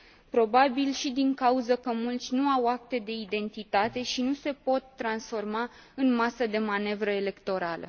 Probabil și din cauză că mulți nu au acte de identitate și nu se pot transforma în masă de manevră electorală.